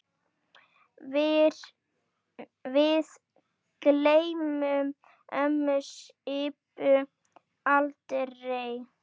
Við gleymum ömmu Sibbu aldrei.